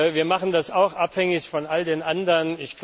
Wir machen das auch abhängig von all den anderen.